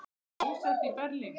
Búsett í Berlín.